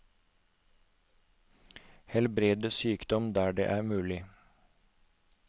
Helbrede sykdom der dette er mulig.